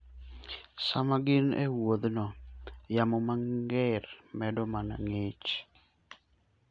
Sama gin e wuodhno, yamo mager medo mana ng'ich.